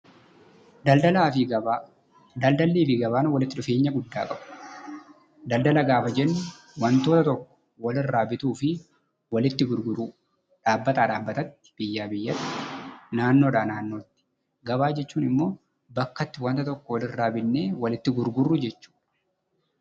Daldallii fi gabaan walitti dhufeenya guddaa qabu. Daldala gaafa jennu waanta tokko walirraa bituu fi walitti gurguruu, dhaabbataa dhaabbatatti, biyyaa biyyatti, naannoodhaa naannootti. Gabaa jechuun immoo bakka itti waanta tokko walirraa bitnee walitti gurgurru jechuudha.